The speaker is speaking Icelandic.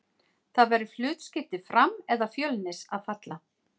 Það verður hlutskipti Fram eða Fjölnis að falla.